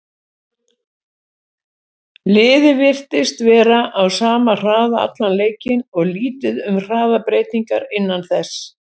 Liðið virtist vera á sama hraða allan leikinn og lítið um hraðabreytingar innan þess.